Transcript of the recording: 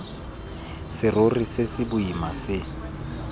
serori se se boima se